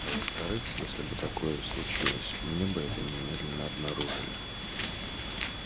а во вторых если бы такое и случилось мне бы это немедленно обнаружили